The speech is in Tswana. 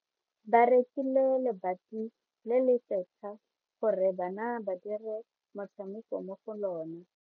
Ba rekile lebati le le setlha gore bana ba dire motshameko mo go lona.